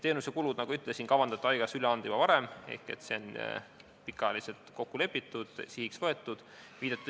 Need kulud, nagu ma ütlesin, kavandati haigekassale üle anda juba varem, ehk see on pikka aega tagasi kokku lepitud ja sihiks võetud.